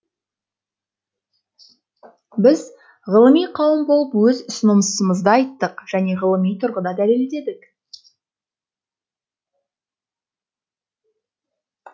біз ғылыми қауым болып өз ұсынысымызды айттық және ғылыми тұрғыда дәлелдедік